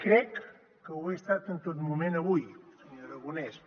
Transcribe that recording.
crec que ho he estat en tot moment avui senyor aragonès